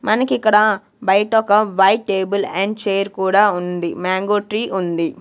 మనకిక్కడ బయట ఒక వైట్ టేబుల్ అండ్ చైర్ కూడా ఉంది మాంగో ట్రీ ఉంది.